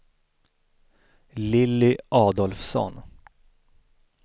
Lilly Adolfsson